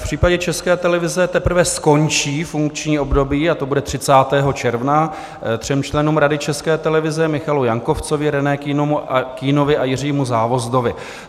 V případě České televize teprve skončí funkční období, a to bude 30. června, třem členům Rady České televize, Michalu Jankovcovi, René Kühnovi a Jiřímu Závozdovi.